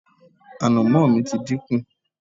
ànàmọ́ mi ti dínkù